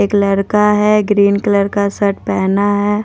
एक लड़का है ग्रीन कलर का शर्ट पहना है ।